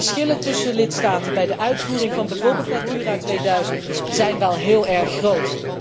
Want de verschillen tussen lidstaten bij de uitvoering van bijvoorbeeld Natura 2000 zijn wel heel erg groot.